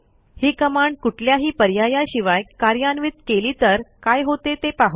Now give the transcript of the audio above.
ही command कुठल्याही पर्यायाशिवाय कार्यान्वित केली तर काय होते ते पाहू